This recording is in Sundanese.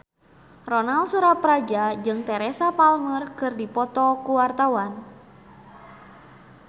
Ronal Surapradja jeung Teresa Palmer keur dipoto ku wartawan